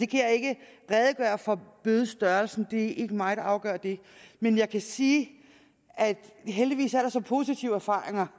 kan ikke redegøre for bødestørrelsen det er ikke mig der afgør den men jeg kan sige at der heldigvis er så positive erfaringer